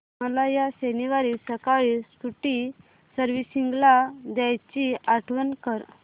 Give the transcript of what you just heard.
मला या शनिवारी सकाळी स्कूटी सर्व्हिसिंगला द्यायची आठवण कर